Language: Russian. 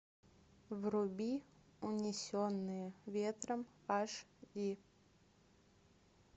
вруби унесенные ветром аш ди